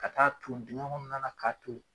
Ka taa ton digen kɔnɔna la k'a toli